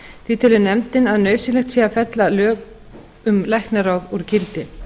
því telur nefndin að nauðsynlegt sé að fella lög um læknaráð úr gildi